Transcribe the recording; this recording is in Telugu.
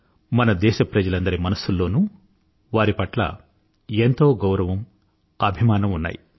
మన దేశప్రజలందరి మనసుల్లోనూ వారి పట్ల ఎంతో గౌరవము అభిమానము ఉన్నాయి